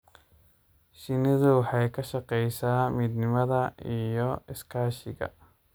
Shinnidu waxay ka shaqaysaa midnimada iyo iskaashiga.